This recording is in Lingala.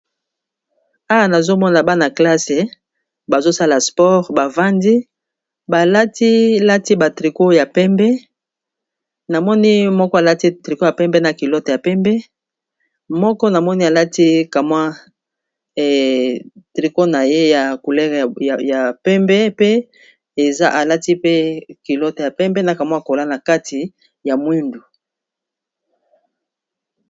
awa nazomona bana-classe bazosala sport bavandi balatilati batriko ya pembe namoni moko alati triko ya pembe na kilote ya pembe moko namoni alati kamwa triko na ye ya coulereya pembe pe eza alati pe kilote ya pembe na kamwa kola na kati ya mwindu